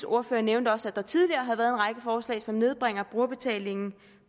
ordfører nævnte også at der tidligere har været en række forslag som nedbringer brugerbetalingen